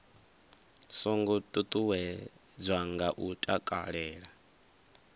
songo ṱuṱuwedzwa nga u takalela